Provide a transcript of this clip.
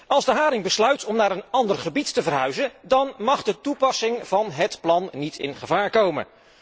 Als de haring besluit om naar een ander gebied te verhuizen, dan mag de toepassing van het plan niet in gevaar komen.